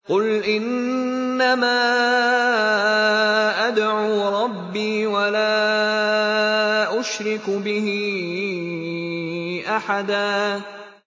قُلْ إِنَّمَا أَدْعُو رَبِّي وَلَا أُشْرِكُ بِهِ أَحَدًا